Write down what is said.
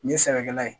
Nin ye sɛnɛkɛla ye